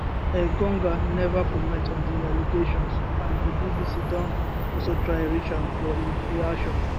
engonga neva comment on di allegations and di bbc don also try reach am for im reaction